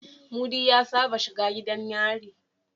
Mudi ya Saba shiga gidan yari